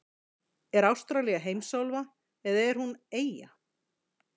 Er Ástralía heimsálfa eða er hún eyja?